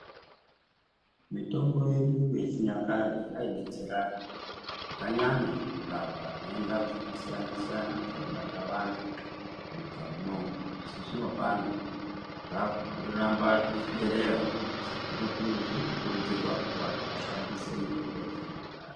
Mitombo yedu yechinyakare yeidetsera zvakanyanya kurapa nhenda dzakasiyana siyana dzaibata vantu munyika munomu asi zvinopano zvakuramba zvichiderera asi zvirikukurudzirwa kuti vantu vashandise mutombo yechinyakare.